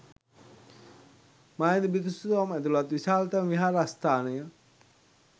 මා ඇඳි බිතුසිතුවම් ඇතුළත් විශාලම විහාරස්ථානය